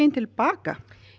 til baka